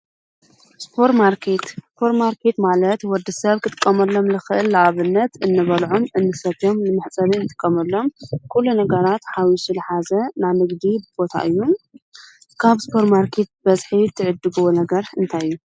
ስፐር ማርኬት፡- ሱፐር ማርኬት ማለት ወዲ ሰብ ክትቀመሎም ልኽእል ኣብነት እንበልዑም እንሰቶም ንምሕጸቢ ንጥቀመሎም ኲሉ ነገራት ሓዊሱ ልሓዘ ናይ ንግዲ ቦታ እዩ፡፡ ካብ ስፐር ማርኬት ብበዝሒ ትዕድግዎ ነገር እንታይ እዩ?